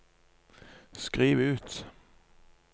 skriv ut